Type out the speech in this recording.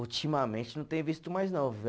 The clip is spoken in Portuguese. Ultimamente não tenho visto mais não.